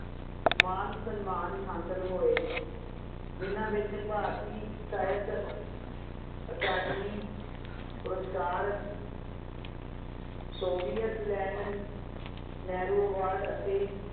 ਮਾਨ ਸਨਮਾਨ ਹਾਸਿਲ ਹੋਏ ਜਿੰਨਾਂ ਵਿੱਚ ਭਾਰਤੀ ਸਾਹਿਤ ਅਕਾਦਮੀ ਪੁਰਸਕਾਰ Soviet Land ਨਹਿਰੂ award ਅਤੇ